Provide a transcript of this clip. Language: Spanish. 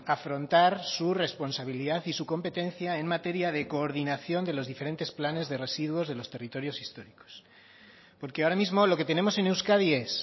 afrontar su responsabilidad y su competencia en materia de coordinación de los diferentes planes de residuos de los territorios históricos porque ahora mismo lo que tenemos en euskadi es